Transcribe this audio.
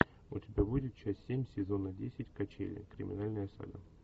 у тебя будет часть семь сезона десять качели криминальная сага